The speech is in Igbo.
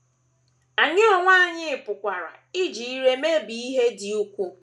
Anyị onwe anyị pụkwara iji ire mebie ihe dị ukwuu.